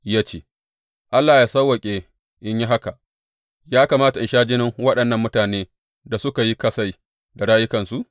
Ya ce, Allah yă sawwaƙe in yi haka, ya kamata in sha jinin waɗannan mutanen da suka yi kasai da rayukansu?